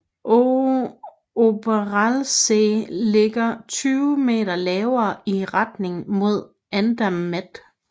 Oberalpsee ligger 20 m lavere i retning mod Andermatt